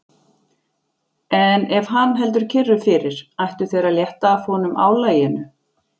En ef hann heldur kyrru fyrir, ættu þeir að létta af honum álaginu.